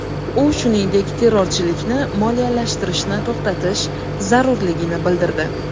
U, shuningdek, terrorchilikni moliyalashtirishni to‘xtatish zarurligini bildirdi.